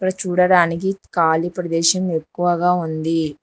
చూడడానికి కాళి ప్రదేశం ఎక్కువగా ఉంది.